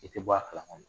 I tɛ bɔ a kalama